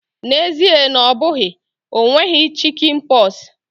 N'ezie na ọ bụghị, o nweghị chikinpoksi.